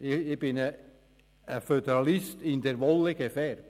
Ich bin ein Föderalist «in der Wolle gefärbt».